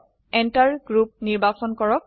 Enter group enter group নিৰ্বাচন কৰক